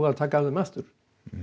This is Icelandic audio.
og taka af þeim aftur